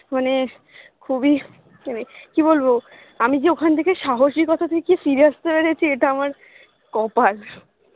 মানে খুবই মানে কি বলবো আমি যে ওখানথেকে সাহসিকতা দেখিয়ে ফিরে আসতে পেরেছি এটা আমার কপাল